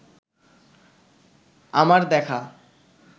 আমার দেখা